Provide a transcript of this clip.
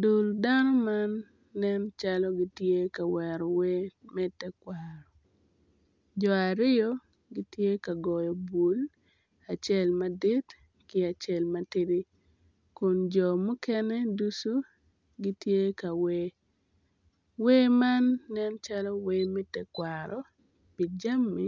Dul dano man nen calo gitye ka wero wer me tekwaro, jo aryo gitye ka goyo bul, acel madit ki acel matidi kun jo mukene ducu gitye ka wer, wer man nen calo wer me tekwaro pi jami